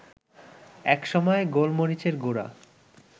এক সময় গোলমরিচের গুঁড়া